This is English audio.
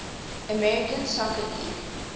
american soccer league